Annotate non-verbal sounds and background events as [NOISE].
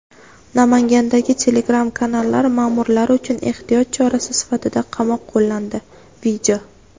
Namangandagi Telegram-kanallar ma’murlari uchun ehtiyot chorasi sifatida qamoq qo‘llandi. [VIDEO]